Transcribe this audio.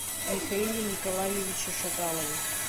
михаиле николаевиче шаталове